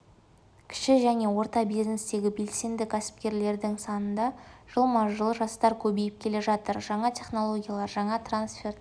кіші және орта бизнестегі белсенді кәсіпкерлердің санында жылма-жыл жастар көбейіп келе жатыр жаңа технологиялар жаңа трансферт